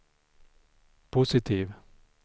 positiv